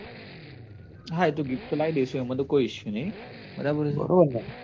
હા એ તો gift તો લાઇ દઈશું એમાં તો કોઈ issue નઈ બરાબર છે